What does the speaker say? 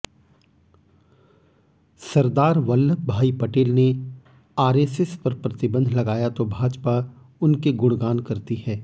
सरदार वल्लभ भाई पटेल ने आरएसएस पर प्रतिबंध लगाया तो भाजपा उनके गुणगान करती है